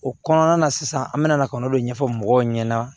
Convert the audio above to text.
O kɔnɔna na sisan an bɛna na ka n'o de ɲɛfɔ mɔgɔw ɲɛna